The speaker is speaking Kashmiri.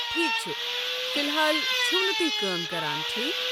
ٹھیکھ چھُ، فی الحال چھِو نہٕ تُہۍ کٲم کران، ٹھیک؟